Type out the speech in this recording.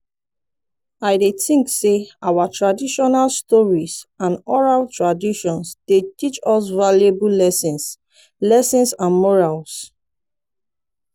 i dey think say our traditional stories and oral traditions dey teach us valuable lessons lessons and morals.